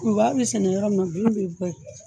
Kurubaga bɛ sɛnɛ yɔrɔ min na bin bɛ bɔ ye.